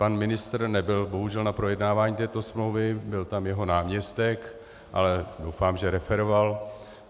Pan ministr nebyl bohužel na projednávání této smlouvy, byl tam jeho náměstek, ale doufám, že referoval.